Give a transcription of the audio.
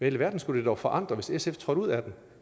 alverden skulle det dog forandre hvis sf trådte ud af den